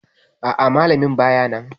A'a, Malamin bayanan